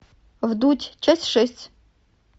вдудь часть шесть